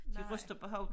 De ryster på hovedet